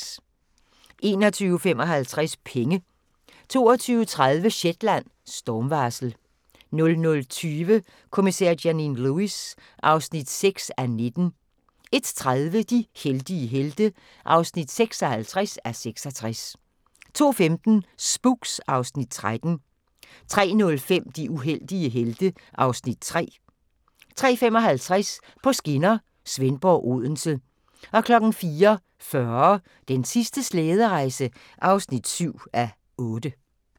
21:55: Penge 22:30: Shetland: Stormvarsel 00:20: Kommissær Janine Lewis (6:19) 01:30: De heldige helte (56:66) 02:15: Spooks (Afs. 13) 03:05: De uheldige helte (Afs. 3) 03:55: På skinner: Svendborg – Odense 04:40: Den sidste slæderejse (7:8)